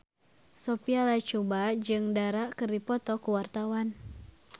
Sophia Latjuba jeung Dara keur dipoto ku wartawan